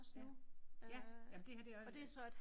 Ja jamen det her det er